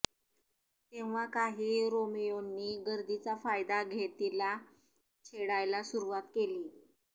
तेव्हा काही रोमियोंनी गर्दीचा फायदा घेत तिला छेडायला सुरुवात केली